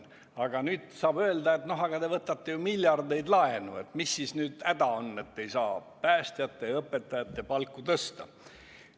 Aga nüüd saab öelda, et te võtate ju miljardeid laenu, mis siis nüüd häda on, et ei saa päästjate ja õpetajate palku tõsta.